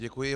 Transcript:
Děkuji.